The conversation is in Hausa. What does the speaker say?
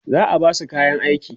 za'a Basu kayan aiki